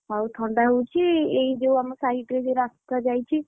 ଆଉ ଥଣ୍ଡା ହଉଛି ଏଇ ଯୋଉ ତମ ସାଇଟରେ ଯୋଉ ରାସ୍ତା ଯାଇଛି,